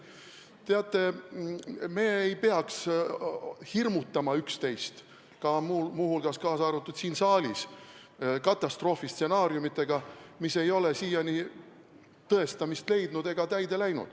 Teate, me ei peaks üksteist hirmutama, muu hulgas ka siin saalis, katastroofistsenaariumidega, mis ei ole siiani tõestamist leidnud ega täide läinud.